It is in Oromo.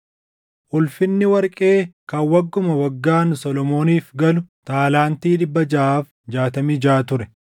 Ulfinni warqee kan wagguma waggaan Solomooniif galu taalaantii 666 ture;